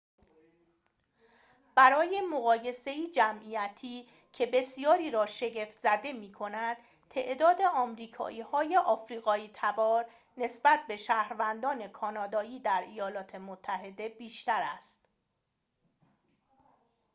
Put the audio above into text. برای مقایسه‌ای جمعیتی که بسیاری را شگفت‌زده می‌کند تعداد آمریکایی‌های آفریقایی‌تبار نسبت به شهروندان کانادایی در ایالات متحده بیشتر است